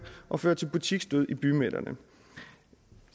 og føre til butiksdød i bymidterne